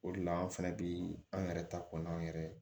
O de la an fɛnɛ bi an yɛrɛ ta ko n'an yɛrɛ